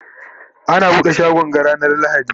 ana buɗe shagon ga ranar lahadi